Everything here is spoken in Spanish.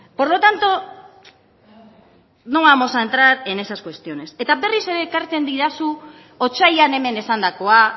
por lo tanto no vamos a entrar en esas cuestiones eta berriz ere ekartzen didazu otsailean hemen esandakoa